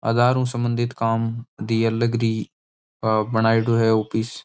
आधार न सम्बंधित काम दिया लगडी बनायेड़ो है ऑफिस --